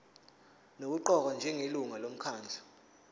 nokuqokwa njengelungu lomkhandlu